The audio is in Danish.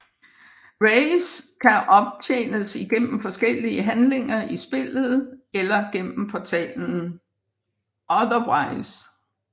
Rays kan optjenes igennem forskellige handlinger i spillet eller gennem portalen Utherverse